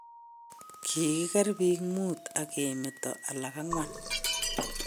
Kogiker biik muut ak ke meto alak ang'wan